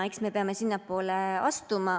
Eks me peame sinnapoole astuma.